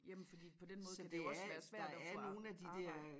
Jamen fordi på den måde kan det jo også være svært at få arbejde